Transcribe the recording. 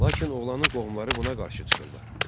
Lakin oğlanın qohumları buna qarşı çıxırlar.